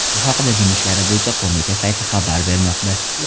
Bu haqda Din ishlari bo‘yicha qo‘mita sayti xabar bermoqda .